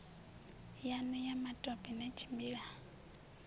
yanu ya matope na tshimbila